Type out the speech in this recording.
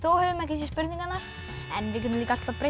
höfum ekki séð spurningarnar en við getum alltaf breytt í